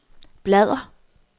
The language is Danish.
bladr